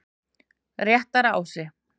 Réttarási